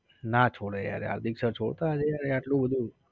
ના છોડે યાર હાર્દિક sir છોડતા હશે યાર એટલું બધું